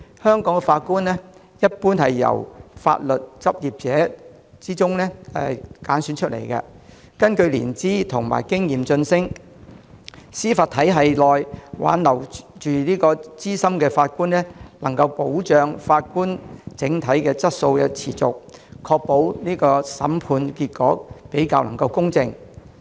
香港法官一般是從法律執業者中挑選，根據年資和經驗晉升，在司法體系內挽留資深法官，能夠保障法官整體質素得以持續，確保審判結果比較公正。